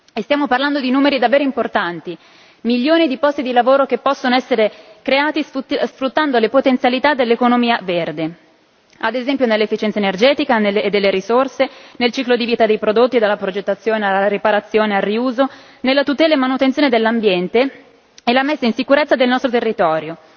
E stiamo parlando di numeri davvero importanti milioni di posti di lavoro che possono essere creati sfruttando le potenzialità dell'economia verde, ad esempio, nell'efficienza energetica e delle risorse, nel ciclo di vita dei prodotti, dalla progettazione alla riparazione al riuso, nella tutela e manutenzione dell'ambiente e la messa in sicurezza del nostro territorio.